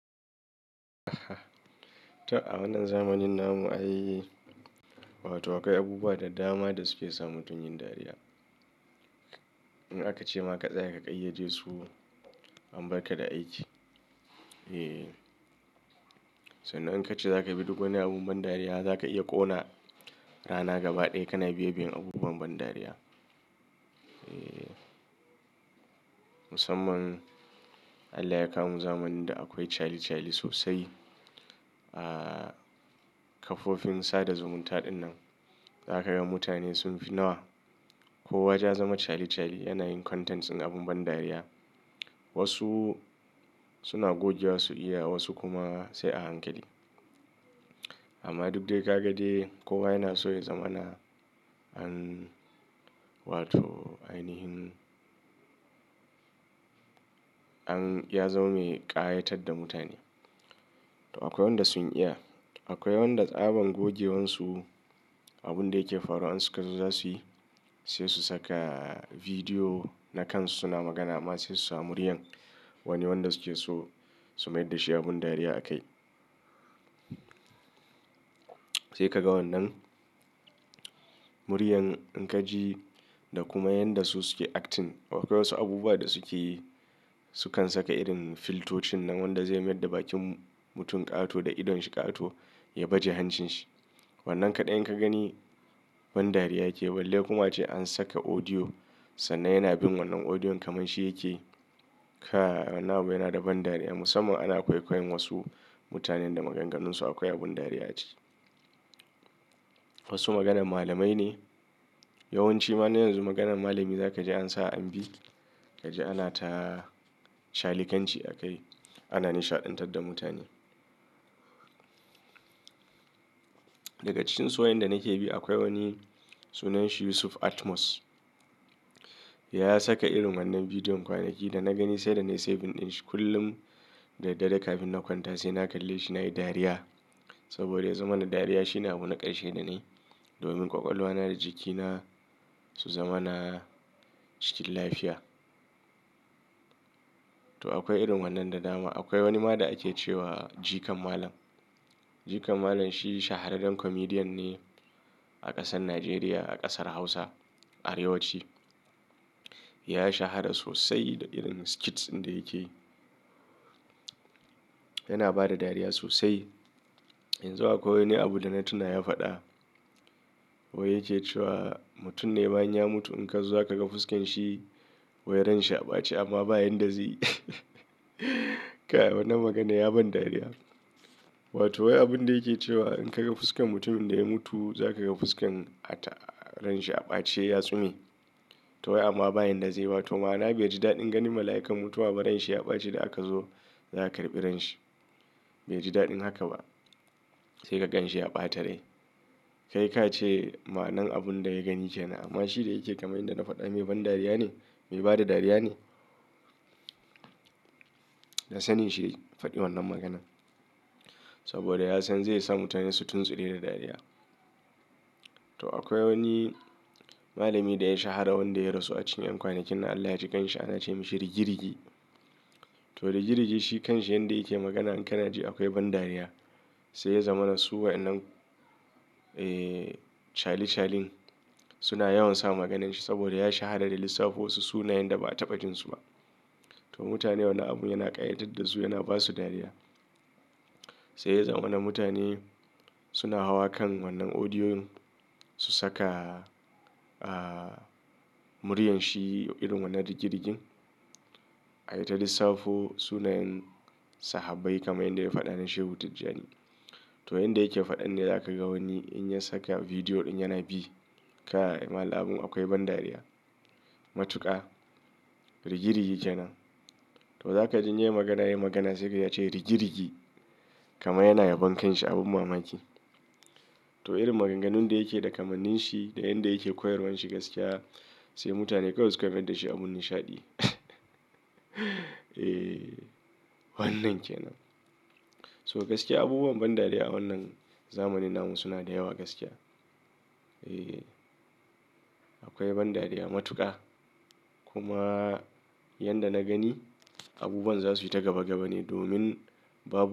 To a wannan zamanin namu, ai wato akwai abubuwa da dama da suke sa mutum yin dariya. In aka ce ma ka tsaya ka ƙayyade su, an barka da aiki. Eee, sannan in ka ce za ka bi duk wani abun ban dariya, za ka iya ƙona rana gaba ɗaya kana bibiyan abubuwan ban dariya. Eee, musamman Allah ya kawo mu zamanin da akwai chali chali sosai. Ahhh, kafofin sada zumunta dinnan zakaga mutane sun fi nawa. Kowa yaje ya zama chali chali yana yin contents ɗin abun ban dariya. Wasu suna gogewa su iya, wasu kuma sai a hankali. Amma duk dai kaga dai, kowa yana so ya zama na an wato ainihin an ya zama mai ƙayatar da mutane. To akwai wanda sun iya. Akwai wanda tsaban gogewansu abunda yake faruwa in suka zo za su yi, sai su saka bidiyo na kansu suna magana amma sai su sa muryar wani wanda suke so su mayar da shi abun dariya a kai. Sai ka ga wannan muryar in ka ji da kuma yanda su suke acting. Akwai wasu abubuwa da suke yi, Sukan saka irin filtocin nan wanda zai mayar da bakin mutum ƙato da idon shi ƙato ya baje hancin shi. Wannan kaɗai in ka gani ban dariya yake. Wallai kuma ace an saka audio sannan yana bin wannan audiyon kaman shi yake. Kai! Wannan abu yana da ban dariya musamman ana kwaikwayon wasu mutanen da maganganunsu akwai abin dariya aciki. Wasu maganan malamai ne. Yawanci ma na yanzu maganan malami za ka ji an sa an bi. Ka ji ana ta chalikan ci a kai. Ana nishaɗantar da mutane. Daga cikin su waƴan da nake bi akwai wani sunan shi Yusuf Atmos. Ya saka irin wannan bidiyon kwanaki da na gani sai da na yi saving din shi kullum da dare kafin na kwanta sai na kalle shi na yi dariya. Saboda ya zama na dariya shine abun na ƙarshe da nayi domin ƙwaƙwalwa na da jikina su zama na cikin lafiya. To akwai irin wannan da dama. Akwai wani ma da ake ce wa Jikan Malam. Jikan Malam shi shahararren comedian ne a ƙasar Najeriya, a ƙasar Hausa, Arewaci. Ya shahara sosai da irin skits inda yake. Yana ba da dariya sosai. Yanzu akwai wani abu da na tuna ya faɗa. Wai yake cewa mutum ne bayan ya mutu in ka zo ka ga fuskan shi wai ran shi a ɓace amma ba yanda zaiyi. Kai wan nan magana ya ban dariya. Wato wai abunda yake cewa in ka ga fuskan mutumin da ya mutu za ka ga fuskan a ta ran shi a ɓaci ya sume. To wai amma ba yanda zai ba to ma na bai ji daɗin gani. Mala'ikan mutuwa ba ran shi ya ɓaci da aka zo za a karɓi ran shi. Bai ji daɗin haka ba. Sai ka gan shi ya ɓata rai. Kai ka ce ma'an abunda ya gani kenan amma shi da yake kamar inda na faɗa mai ban dariya ne, mai bada dariya ne. Da sanin shi ya faɗi wannan maganan. Saboda ya san zai sa mutane su tuntsure da dariya. To akwai wani malami da ya shahara wanda ya rasu a cikin ƴan kwanakin nan Allah ya ji kanshi ana ce mishi Rigirgi. To da rigirigi shi kanshi yanda yake magana in kana ji akwai ban dariya. Sai ya zama na suwa wa'ennan ee chali chalin suna yawan sa maganin shi saboda ya shahara da lissafo wasu sunayen da ba a taɓa jin su ba. To mutane wannan abun yana ƙayatar da su yana ba su dariya. Sai ya zama na mutane suna hawa kan wannan audiyon su saka ah muryar shi irin wannan rigirigin. Yayi ta lissafo sunayen sahabbai kamar yanda ya faɗa na Shehu Tajani. To inda yake faɗan ne za ka ga wani in ya saka bidiyo ɗin yana bi. Ka yi malam abun akwai ban dariya. Matuƙa, rigirigi kenan. To za ka ji inya yi magana ya yi magana sai ka ji ya ce rigirigi kamar yana yabon kanshi abun mamaki. To irin maganganun da yake da kamannin shi da yanda yake koyarwan shi gaskiya sai mutane kawai suka mayar da shi abun nishaɗi. Eeee wannan kenan. To gaskiya abubuwan ban dariya a wannan zamanin namu suna da yawa gaskiya. Eeee akwai ban dariya matuƙa. Kuma yanda na gani abubuwan za su yi ta gaba gaba ne domin babu.